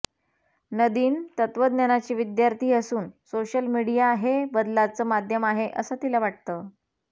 नदीन तत्त्वज्ञानाची विद्यार्थी असून सोशल मीडिया हे बदलाचं माध्यम आहे असं तिला वाटतं